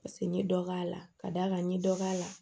Paseke n ɲe dɔ k'a la ka d'a kan n ye dɔ k'a la